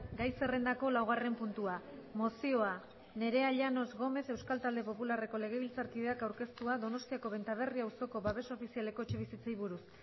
gai zerrendako laugarren puntua mozioa nerea llanos gómez euskal talde popularreko legebiltzarkideak aurkeztua donostiako benta berri auzoko babes ofizialeko etxebizitzei buruz